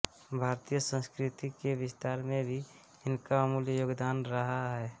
भारतीय संस्कृति के विस्तार में भी इनका अमूल्य योगदान रहा है